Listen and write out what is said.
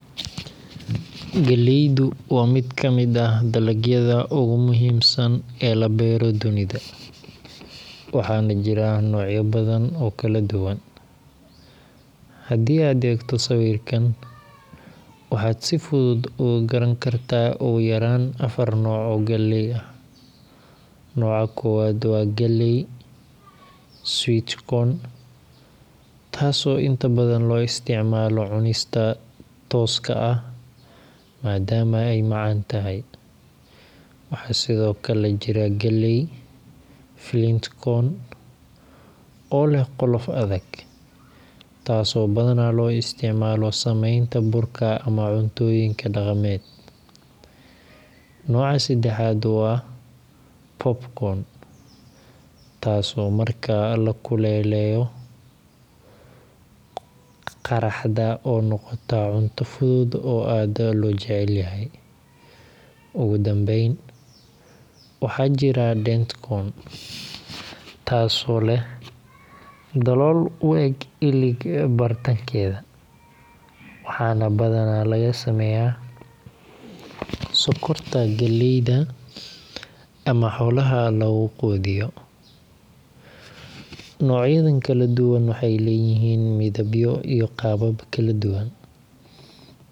Galleydu waa mid ka mid ah dalagyada ugu muhiimsan ee la beero dunida, waxaana jira noocyo badan oo kala duwan. Haddii aad eegto sawirkan, waxaad si fudud uga garan kartaa ugu yaraan afar nooc oo galley ah. Nooca koowaad waa galley sweet corn, taas oo inta badan loo isticmaalo cunista tooska ah maadaama ay macaan tahay. Waxaa sidoo kale jira galley flint corn, oo leh qolof adag, taas oo badanaa loo isticmaalo samaynta burka ama cuntooyinka dhaqameed. Nooca saddexaad waa popcorn, taas oo marka la kululeeyo qaraxda oo noqota cunto fudud oo aad loo jecel yahay. Ugu dambayn, waxaa jira dent corn, taas oo leh dalool u eg ilig bartankeeda, waxaana badanaa laga sameeyaa sokorta galleyda ama xoolaha lagu quudiyo. Noocyadan kala duwan waxay leeyihiin midabyo iyo qaabab kala duwan, taasoo ka dhigaysa